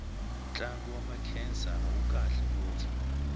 ntlangu wa makhensa wu kahle ngopfu